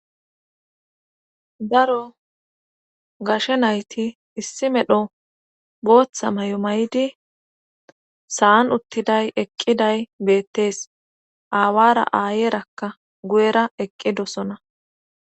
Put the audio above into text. Daro gashe nayti issi medho booththa may7o may7di sa7an uttiday eqqiday beettees aawara aayeerakka guyera eqqidosona